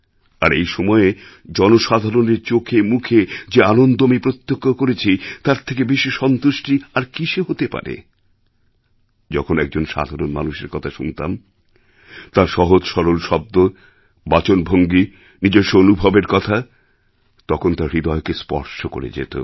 আর এই সময়ে জনসাধারণের চোখেমুখে যে আনন্দ আমি প্রত্যক্ষ করেছি তার থেকে বেশি সন্তুষ্টি আর কিসে হতে পারে যখন একজন সাধারণ মানুষের কথা শুনতাম তাঁর সহজ সরল শব্দ বাচনভঙ্গী নিজস্ব অনুভবের কথা তখন তা হৃদয়কে স্পর্শ করে যেত